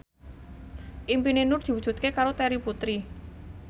impine Nur diwujudke karo Terry Putri